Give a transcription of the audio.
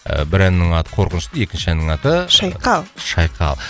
бір әннің аты қорқынышты екінші әннің аты шайқал шайқал